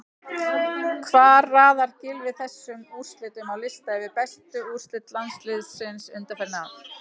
Hvar raðar Gylfi þessum úrslitum á lista yfir bestu úrslit landsliðsins undanfarin ár?